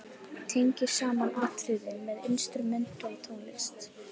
Tengir saman atriðin með instrumental tónlist.